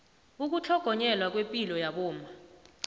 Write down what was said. ukutlhogonyelwa kwepilo yabomma